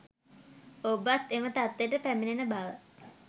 ඔබත් එම තත්වයට පැමිණෙන බව